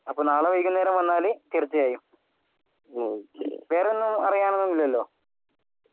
അപ്പൊ നാളെ വൈകുന്നേരം വന്നാൽ തീർച്ചയായും വേറെ ഒന്നും അറിയാനില്ലെല്ലോ